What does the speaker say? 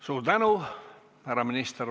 Suur tänu, härra minister!